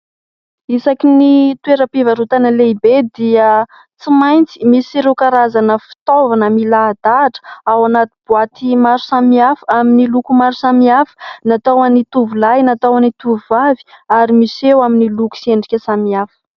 Isaky ny toeram-pivarotana lehibe dia tsy maintsy misy ireo karazana fitaovana milahadahatra ao anaty boaty maro samihafa amin'ny loko maro samihafa natao ho an'ny tovolahy, natao ho an'ny tovovavy ary miseho amin'ny loko sy endrika samihafa.